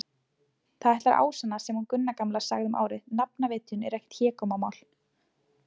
Það ætlar að ásannast sem hún Gunna gamla sagði um árið: nafnvitjun er ekkert hégómamál.